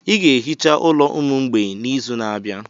I ga-ehicha ụlọ ụmụ mgbei n'izu na-abịa.